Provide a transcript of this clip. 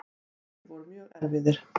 Sumir voru mjög erfiðir.